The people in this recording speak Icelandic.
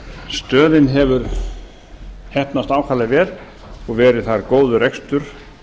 stöðin hefur heppnast ákaflega vel og verið þar góður rekstur